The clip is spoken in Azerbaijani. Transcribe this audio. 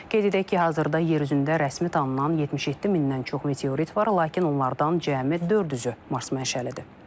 Qeyd edək ki, hazırda yer üzündə rəsmi tanınan 77 mindən çox meteorit var, lakin onlardan cəmi 400-ü Mars mənşəlidir.